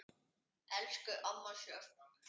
Elsku amma Sjöfn.